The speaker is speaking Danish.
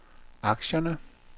aktierne